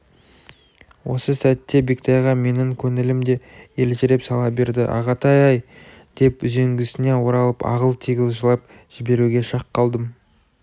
осы сәтте бектайға менің көңілім де елжіреп сала берді ағатай-ай деп үзеңгісіне оралып ағыл-тегіл жылап жіберуге шақ қалдым